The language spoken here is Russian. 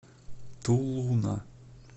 тулуна